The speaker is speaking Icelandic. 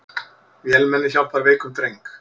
Vélmenni hjálpar veikum dreng